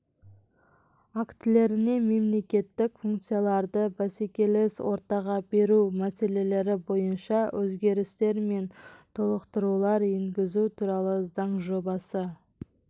актілеріне мемлекеттік функцияларды бәсекелес ортаға беру мәселелері бойынша өзгерістер мен толықтырулар енгізу туралы заң жобасы